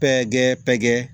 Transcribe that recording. Pɛ kɛ pɛtɛ